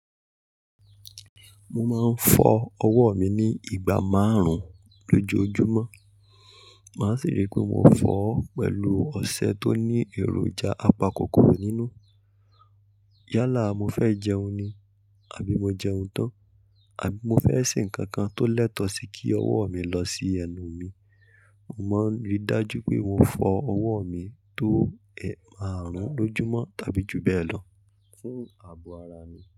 Mo máa ń fọ ọwọ́ mi ní ìgbà márùn-ún lójoojúmọ́. Màá sì rí pé mo fọ̀ ọ́ pẹ̀lú ọṣẹ tó ní èròjà apakòkòrò nínú. Yálà, mo fẹ́ jẹun ni àbí mo jẹun tán, àbí mo fẹ́ ṣe nǹkan kan tó lẹ́tọ̀ọ́ sí kí ọwọ́ mi lọ sí ẹnu mi, mo máa rí i dájú pé mo fọ ọwọ́ mi tó eemárùn lójúmọ́ tàbí ju bẹ́ẹ̀ lọ fún ààbò ara mi.